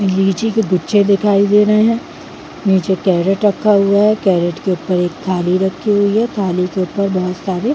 लीची के गुच्छे दिखाई दे रहे है नीचे कैरेट रखा हुआ है कैरेट के ऊपर एक थाली रखी हुई है थाली के ऊपर बहोत सारे--